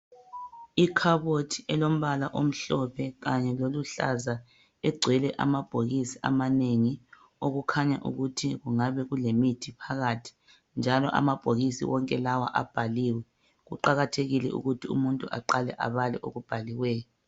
Ikhabothi elombala omhlophe kanye loluhlaza egcwele amabhokisi amanengi okukhanya ukuthi kungabe kulemithi phakathi njalo amabhokisi wonke lawa abhaliwe. Kuqakathekile ukuthi umuntu aqale abale okubhaliweyo.